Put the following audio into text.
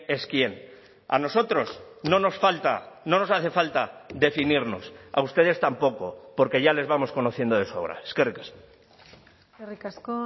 es quién a nosotros no nos falta no nos hace falta definirnos a ustedes tampoco porque ya les vamos conociendo de sobra eskerrik asko eskerrik asko